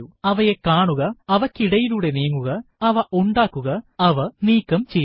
അവയെ കാണുക അവയ്ക്കിടയിലൂടെ നീങ്ങുക അവ ഉണ്ടാക്കുക അവ നീക്കം ചെയ്യുക